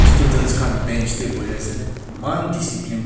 students kan bench de bui ase eman discipline pa.